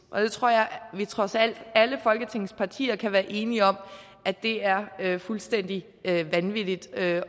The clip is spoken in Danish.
og jeg tror at trods alt alle folketingets partier kan være enige om at det er fuldstændig vanvittigt alene